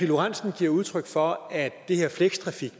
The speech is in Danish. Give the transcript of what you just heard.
lorentzen giver udtryk for at det her flextrafik